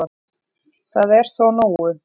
Það er þó nógu